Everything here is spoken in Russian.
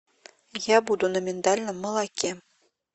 я буду на миндальном молоке